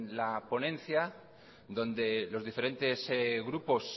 la ponencia donde los diferentes grupos